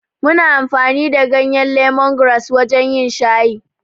Muna amfani da ganyen lemongrass wajen yin shayi.